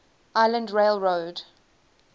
island rail road